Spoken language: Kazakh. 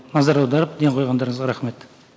назар аударып ден қойғандарыңызға рахмет